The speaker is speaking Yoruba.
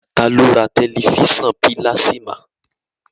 Taa ló ra tẹ̀lifísàn pílásímà?